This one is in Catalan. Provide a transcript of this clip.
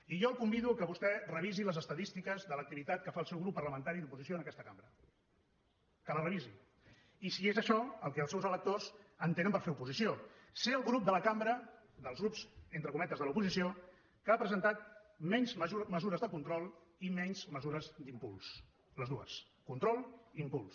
i jo el convido que vostè revisi les estadístiques de l’activitat que fa el seu grup parlamentari d’oposició en aquesta cambra que les revisi i si és això el que els seus electors entenen per fer oposició ser el grup de la cambra dels grups entre cometes de l’oposició que ha presentat menys mesures de control i menys mesures d’impuls les dues control i impuls